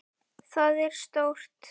Það er stórt.